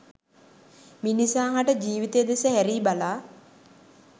මිනිසා හට ජීවිතය දෙස හැරී බලා